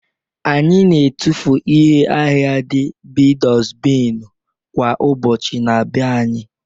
Anyị na-etufu ihe ahịhịa dị b'dosbinu kwa ụbọchị n'be anyị